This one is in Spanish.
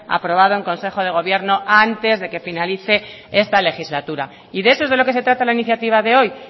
aprobado en consejo de gobierno antes de que finalice esta legislatura y de eso es de lo que se trata la iniciativa de hoy